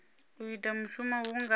u ita mushumo hu nga